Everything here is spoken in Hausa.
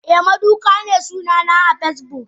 Eh maduka ne sunana so Facebook.